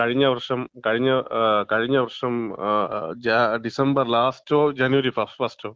കഴിഞ്ഞ വർഷം, കഴിഞ്ഞ, കഴിഞ്ഞ വർഷം, ജാ ഡിസംബർ ലാസ്റ്റോ ജനുവരി ഫസ്റ്റോ.